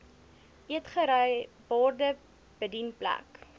eetgery borde bedienplek